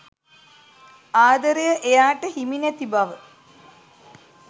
ආදරය එයාට හිමි නැති බව.